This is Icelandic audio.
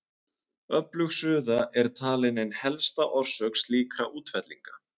Öflug suða er talin ein helsta orsök slíkra útfellinga.